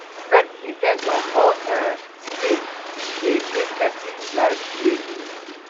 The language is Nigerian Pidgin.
to set in ten tions for um di day dey make persin life de meaningful